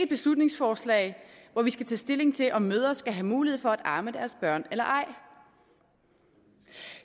beslutningsforslag hvor vi skal tage stilling til om mødre skal have mulighed for at amme deres børn eller ej